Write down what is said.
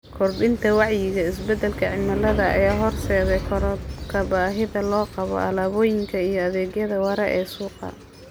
Kordhinta wacyiga isbeddelka cimilada ayaa horseedaysa korodhka baahida loo qabo alaabooyinka iyo adeegyada waara ee suuqa.